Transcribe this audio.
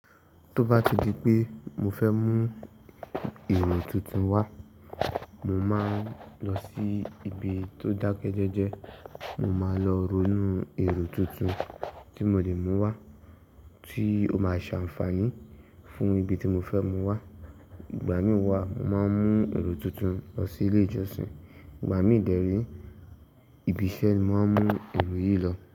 Tó bá ti di pé mo fẹ́ mú èrò tuntun wá, mo máa ń lọ sí ibi tó dákẹ́jẹ́jẹ́, mo máa lọ ronú èrò tuntun tí mo lè mú wá tí ó máa ṣàǹfààní fún ibi tí mo fẹ́ mú wá. Ìgbà mí wá, màá mú èrò tuntun lọ sí ilé ìjọsìn, ìgbà mí dẹ̀rí, ibi iṣẹ́ ni màá mú èrò yìí lọ.